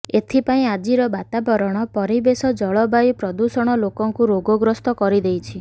ଏଥିପାଇଁ ଆଜିର ବାତାବରଣ ପରିବେଶ ଜଳବାୟୁ ପ୍ରଦୂଷଣ ଲୋକଙ୍କୁ ରୋଗଗ୍ରସ୍ତ କରିଦେଇଛି